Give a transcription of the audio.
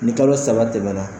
Ni kalo saba tɛmɛna.